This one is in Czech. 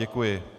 Děkuji.